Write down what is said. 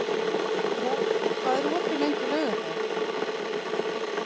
Rolf, hvað er opið lengi á laugardaginn?